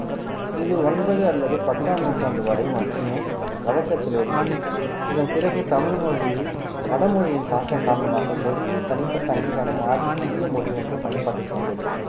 இது ஒன்பது அல்லது பத்தாம் நூற்றாண்டு வரை மட்டுமே வழக்கத்தில் இருந்தது இதன் பிறகு தமிழ் மொழியில் வட மொழியின் தாக்கம் காரணமாக மொழியின் தனிப்பட்ட அங்கீகாரம் மாறி புதிய மொழி ஒன்று பயன்பாட்டிற்கு வந்தது